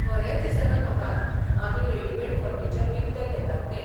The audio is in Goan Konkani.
खरेंच दिसना म्हाका आमी रेडिमेड फर्निचर विकतें घेतात तें.